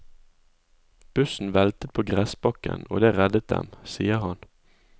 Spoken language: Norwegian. Bussen veltet på gressbakken, og det reddet dem, sier han.